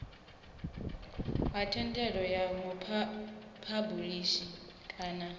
ha thendelo ya muphabulisi kana